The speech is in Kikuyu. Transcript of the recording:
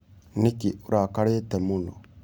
Nĩkĩ ũrakarĩte mũno?